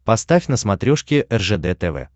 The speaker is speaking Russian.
поставь на смотрешке ржд тв